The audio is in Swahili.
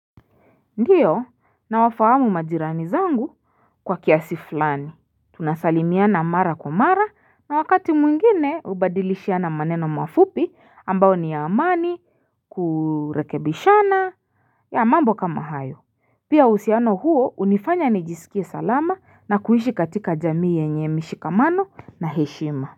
Ndiyo nawafahamu majirani zangu kwa kiasi fulani tunasalimiana mara kwa mara na wakati mwingine hubadilishia na maneno mafupi ambayo ni ya amani kurekebishana ya mambo kama hayo pia uhusiano huo hunifanya nijisikie salama na kuishi katika jamii yenye mshikamano na heshima.